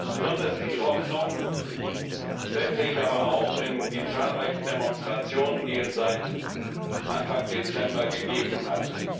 Besonders viel Hoffnung setze ich aber auch auf die zahlreichen Demonstrationen, die es seit Anfang Dezember gegeben hat.